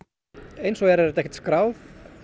eins og er er þetta ekki skráð